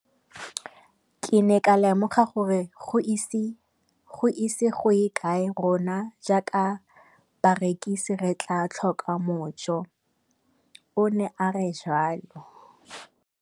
Ke ne ka lemoga gore go ise go ye kae rona jaaka barekise re tla tlhoka mojo, o ne a re jalo.